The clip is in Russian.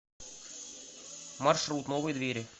маршрут новые двери